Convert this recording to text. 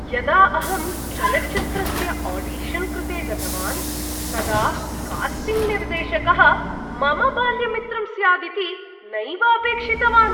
यदा अहं चलच्चित्रस्य आडिशन् कृते गतवान्, तदा कास्टिङ्ग् निर्देशकः मम बाल्यमित्रं स्यादिति नैव अपेक्षितवान्।